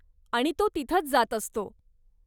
आणि तो तिथंच जात असतो.